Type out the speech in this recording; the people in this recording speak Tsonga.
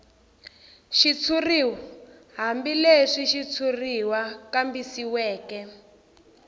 xitshuriw hambileswi xitshuriwa kambisisiweke